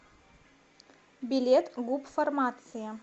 билет гуп фармация